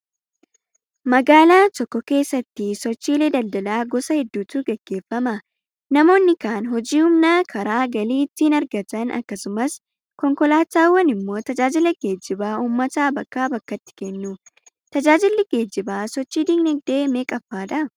Magaalaa tokko keessatti sochiilee daldalaa gosa hedduutu gaggeeffama. Namoonni kaan hojii humnaa karaa galii ittiin argatan akkasumas konkolaataawwan immoo tajaajila geejjibaa uummata bakkaa bakkatti kennu. Tjaajilli geejjibaa sochii dinagdee meeqffaadhaa?